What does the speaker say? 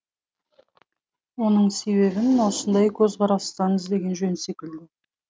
оның себебін осындай көзқарастан іздеген жөн секілді